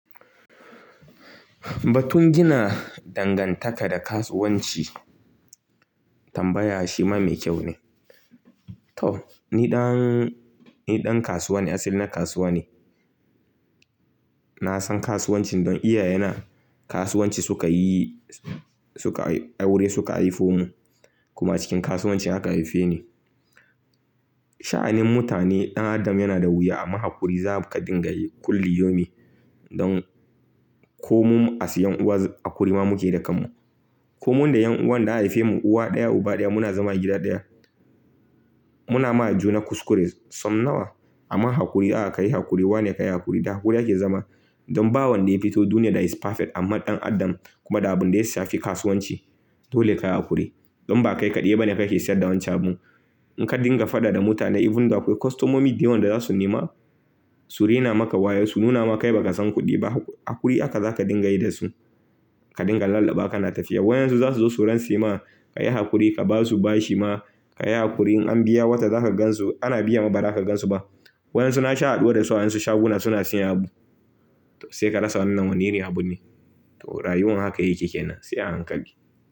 Batun gina dangantaka da kasuwanci tambaya shi ma mai kyau ne. To ni ɗan, ni ɗan kasuwa ne, asali na kasuwa ne. Na san kasuwancin don iyaye na kasuwanci suka yi, suka aure suka haifo mu kuma cikin kasuwanci haka haife ni. Sha'anin mutane ɗan adam yana da wuya amma haƙuri za ka dinga yi kulli yomi don ko mu asiyan wax haƙuri ma muke yi da kan mu. Ko mu da 'yan uwan da haife mu uwa ɗaya uba ɗaya muna zama gida ɗaya. Muna ma juna kuskure son nawa amma haƙuri a ka yi haƙuri wa ne ka yi haƙuri da haƙuri ake zama. Don ba wanda ya fito duniya da is perfect amma ɗan adam kuma da abun da ya sha fi kasuwanci dole ka yi haƙuri. Don ba kai kaɗai ba ne kake sayas da wancan abun. In ka dinga faɗa da mutane even da akwai kostomomi da yawan da za su nema su rina maka waya su nuna maka bai ba ka san kuɗi ba haƙuri aka za ka dinga yi da su. Ka dinga lallaɓawa kana tafiya. Wayan su za su zo su ran sema ka yi haƙuri ka ba su bashi ma ka yi haƙuri. In an biya wata za ka gansu ana biya ma ba za ka gansu ba. Wayan su na sha haɗuwa da su a wayan su shaguna suna seyan abu. To sai ka rasa wannan woni irin abu ne. To rayuwan haka yake kenan sai a hankali.